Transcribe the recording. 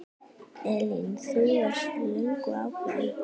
Elín: Þú varst löngu ákveðin?